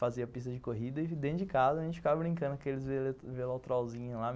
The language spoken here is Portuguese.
Fazia pista de corrida e dentro de casa a gente ficava brincando aqueles velotrolzinhos lá.